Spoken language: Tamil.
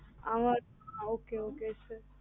அவனா okay okay sir